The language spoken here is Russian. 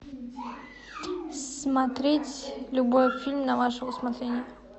смотреть любой фильм на ваше усмотрение